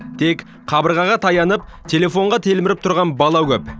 тек қабырғаға таянып телефонға телміріп тұрған бала көп